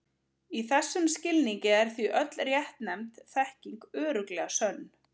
Í þessum skilningi er því öll réttnefnd þekking örugglega sönn.